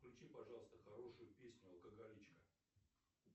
включи пожалуйста хорошую песню алкоголичка